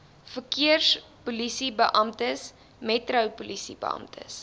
verkeerspolisiebeamptes metro polisiebeamptes